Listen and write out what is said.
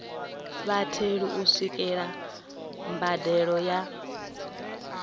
vhatheli u swikelela mbadelo ya